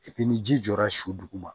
ni ji jɔra su duguma